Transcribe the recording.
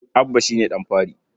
Abba shi ne ɗan fari.